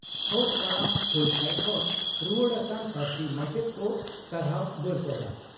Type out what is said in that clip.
ᱦᱚᱨ ᱛᱟᱲᱟᱢ ᱦᱩᱞᱥᱟᱹᱭ ᱠᱷᱚᱱ ᱨᱩᱣᱟᱹᱲ ᱟᱠᱟᱱ ᱯᱟᱹᱨᱥᱤ ᱢᱟᱪᱮᱛ ᱠᱚ ᱥᱟᱨᱦᱟᱣ ᱵᱟᱹᱨᱯᱟᱫᱟ